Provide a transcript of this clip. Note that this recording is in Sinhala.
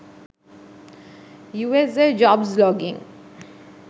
usa jobs login